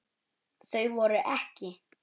Þau voru EKKI.